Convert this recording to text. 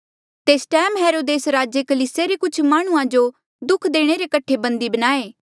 तेस टैम हेरोदेस राजे कलीसिया रे कुछ माह्णुंआं जो दुःख देणे रे कठे बन्धी बनाये